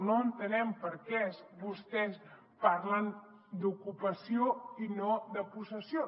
no entenem per què vostès parlen d’ocupació i no de possessió